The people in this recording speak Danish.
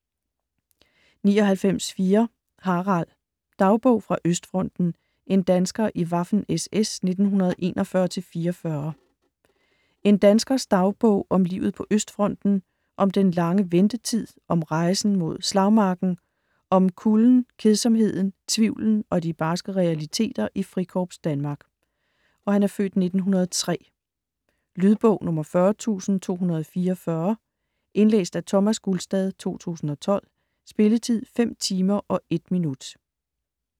99.4 Harald Dagbog fra Østfronten: en dansker i Waffen-SS 1941-44 En danskers (f. 1903) dagbog om livet på Østfronten, om den lange ventetid, om rejsen mod slagmarken, om kulden, kedsomheden, tvivlen og de barske realiteter i Frikorps Danmark. Lydbog 40224 Indlæst af Thomas Gulstad, 2012. Spilletid: 5 timer, 1 minutter.